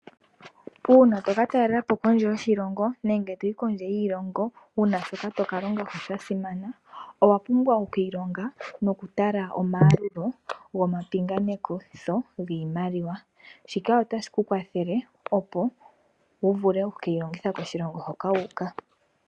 Uuna toka talelapo kondje yoshilongo, nenge toyi kondje yiilongo wuna shoka tokalongako sha simana owa pumbwa okwilonga nokutala omalulo goma pinganekitho ngiimaliwa, shika ota shi tukwathele opo wuvule oku keyilongitha koshilongo hoka wuka.